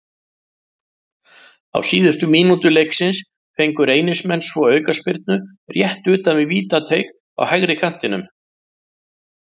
Á síðustu mínútu leiksins fengu Reynismenn svo aukaspyrnu rétt utan við vítateig á hægri kantinum.